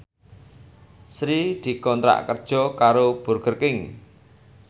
Sri dikontrak kerja karo Burger King